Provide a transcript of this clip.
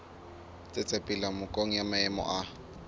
tsetsepela nakong ya maemo a